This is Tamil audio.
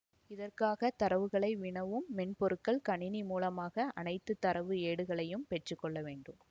இதற்காக தரவுகளை வினவும் மென்பொருட்கள் கணிணி மூலமாக அணைத்து தரவு ஏடுகளையும் பெற்று கொள்ள வேண்டும்